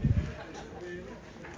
Dedi ki, mən özüm də elə danışıram.